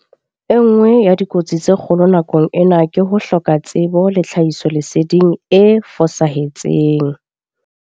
E nngwe ya dikotsi tse kgolo nakong ena ke ho hloka tsebo le tlhahisoleseding e fosahetseng.